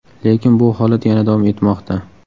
Lekin bu holat yana davom etmoqda.